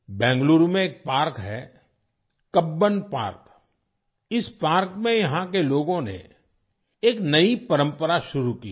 बेंगलुरू में एक पार्क है कब्बन पार्क इस पार्क में यहाँ के लोगों ने एक नई परंपरा शुरू की है